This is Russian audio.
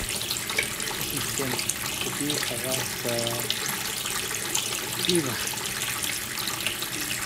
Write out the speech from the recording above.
ассистент купи пожалуйста пиво